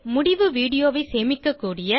முடிவு வீடியோ ஐ சேமிக்கக்கூடிய